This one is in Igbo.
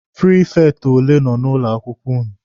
Prifekti ole nọ na ụlọ akwụkwọ ụnụ?